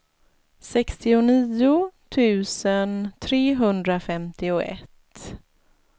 sextionio tusen trehundrafemtioett